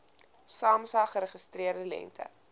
samsa geregistreerde lengte